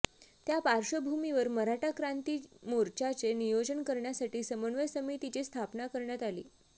त्या पार्श्वभूमीवर मराठा क्रांती मोर्चाचे नियोजन करण्यासाठी समन्वय समितीची स्थापना करण्यात आली